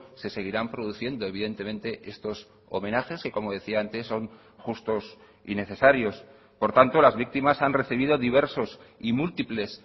se seguirán produciendo evidentemente estos homenajes que como decía antes son justos y necesarios por tanto las víctimas han recibido diversos y múltiples